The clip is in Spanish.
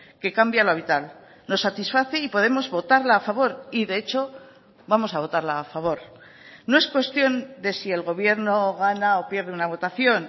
que cambia lo vital nos satisface y podemos votarla a favor y de hecho vamos a votarla a favor no es cuestión de si el gobierno gana o pierde una votación